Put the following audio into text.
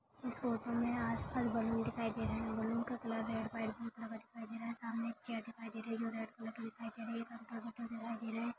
इस फोटो मे आसपास बलून दिखाई दे रहे बलून का कलर है रेड व्हाइट ब्लू कलर दिखाई दे रहे सामने एक चेयर दिखाई दे रहे जो रेड कलर की दिखाई दे रही है दिखाई दे रहा है।